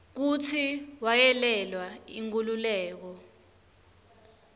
kutsi wayelwela inkhululeko